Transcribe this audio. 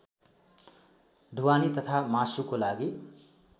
ढुवानी तथा मासुको लागि